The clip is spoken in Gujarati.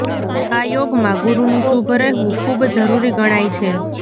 આ યોગમાં ગુરુનુ શુભ રહેવુ ખુબ જરૂરી ગણાય છે